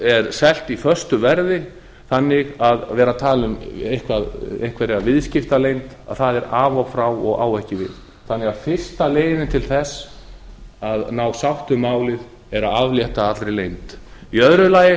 er selt í föstu verði þannig að vera að tala um einhverja viðskiptaleynd er af og frá og á ekki við þannig að fyrsta leiðin til að ná sátt um málið er að aflétta allri leynd í öðru lagi